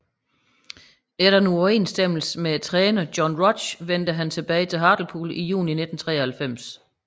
Efter en uoverensstemmelse med træneren John Rudge vendte han tilbage til Hartlepool i juni 1993